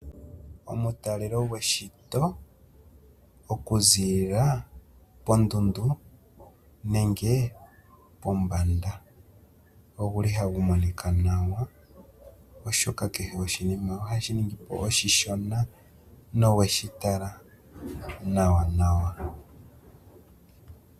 Omutalelo goshito okuzilila kondundu nenge pombanda oguli ha gumonika nawa, oshoka kehe oshinima ohashi ningi po oshishona no we shitala nawanawa.